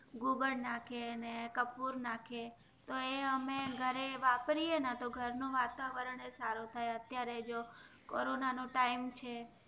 ગોબર નાખે ને કપૂર નાખે તો એ અમે ઘરેવાપરીએ ને નું વાતાવરણ સારું થાય અત્યરે જો કોરોના નો ટાઈમ છે